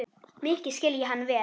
Mikið skil ég hann vel.